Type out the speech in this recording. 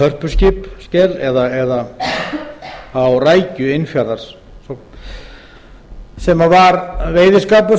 dæmis á hörpuskel eða á innfjarða rækju sem var veiðiskapur